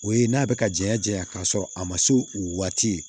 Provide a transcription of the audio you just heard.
O ye n'a bɛ ka janya janya k'a sɔrɔ a ma se o waati ye